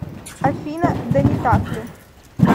афина да не так ли